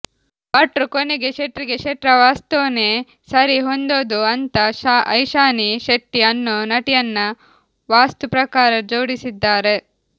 ಭಟ್ರು ಕೊನೆಗೆ ಶೆಟ್ರಿಗೆ ಶೆಟ್ರ ವಾಸ್ತೂನೇ ಸರಿ ಹೊಂದೋದು ಅಂತ ಐಶಾನಿ ಶೆಟ್ಟಿ ಅನ್ನೋ ನಟಿಯನ್ನ ವಾಸ್ತುಪ್ರಕಾರ ಜೋಡಿಸಿದ್ದಾರೆ